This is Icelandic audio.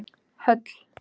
Höll